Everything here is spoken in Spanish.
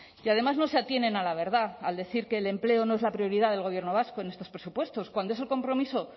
y además no se atienen a la verdad al decir que el empleo no es la prioridad del gobierno vasco en estos presupuestos cuando es el compromiso